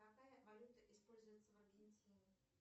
какая валюта используется в аргентине